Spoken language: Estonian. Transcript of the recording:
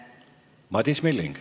Madis Milling.